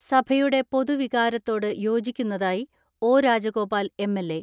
സഭയുടെ പൊതു വികാരത്തോട് യോജിക്കുന്നതായി ഒ.രാജഗോപാൽ എം.എൽ.എ.